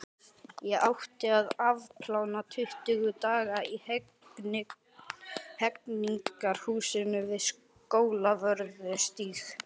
Ég átti að afplána tuttugu daga í Hegningarhúsinu við Skólavörðustíg.